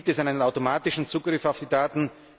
Gibt es einen automatischen Zugriff auf die Daten?